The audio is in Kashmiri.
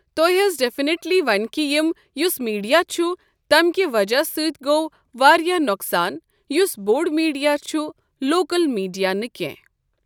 تو ہہٕ حظ ڈٮ۪فنِٹلی ونہٕ کہِ یِم یُس میٖڈیا چھُ تمہِ کہِ وجہ سۭتۍ گوٚو واریاہ نۄقصان یُس بوٚڈ میٖڈیا چھُ لوکل میٖڈیا نہٕ کینٛہہ۔